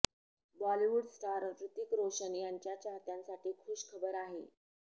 Bollywood star Hrithik Roshan याच्या चाहत्यांसाठी खुश खबर आहे